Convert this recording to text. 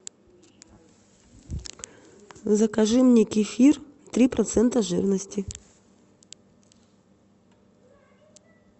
закажи мне кефир три процента жирности